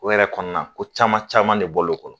O yɛrɛ kɔnɔna ko caman caman de bɔl'o kɔnɔ